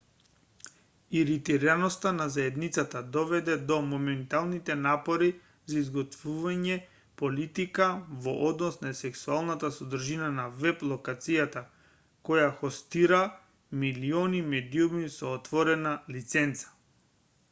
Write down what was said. иритираноста на заедницата доведе до моменталните напори за изготвување политика во однос на сексуалната содржина на веб-локацијата која хостира милиони медиуми со отворена лиценца